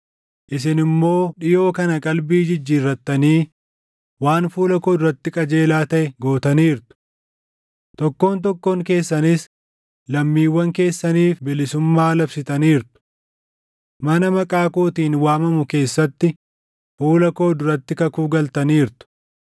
Isin immoo dhiʼoo kana qalbii jijjiirrattanii waan fuula koo duratti qajeelaa taʼe gootaniirtu: Tokkoon tokkoon keessanis lammiiwwan keessaniif bilisummaa labsitaniirtu. Mana Maqaa kootiin waamamu keessatti fuula koo duratti kakuu galtaniirtu.